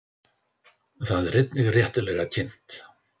Það er einnig réttilega kynnt.